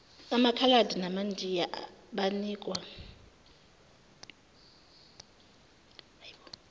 amakhaladi namandiya banikwa